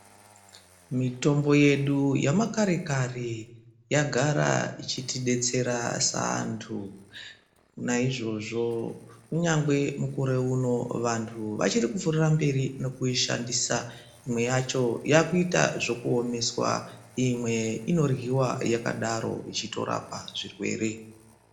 Mitombo yedu yemakarekare yagara ichitidetsera seanthu. Naizvozvo kunyangwe vanthu vachiri kupfuurira mberi nekuishandisa, imwe vakuiita zvekuiomesa imwe inoryiwa yakadaro yechitorapa zvirwere.